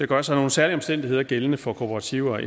gør sig nogle særlige omstændigheder gældende for kooperativer